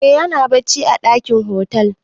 Eh ya na bacci a ɗakin otal.